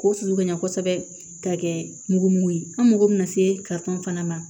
K'o sulu ka ɲɛ kosɛbɛ ka kɛ mugumugu ye an mago bɛna se fana ma